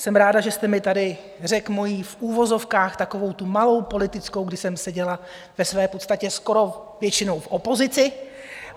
Jsem ráda, že jste mi tady řekl moji v uvozovkách takovou tu malou politickou, kdy jsem seděla ve své podstatě skoro většinou v opozici.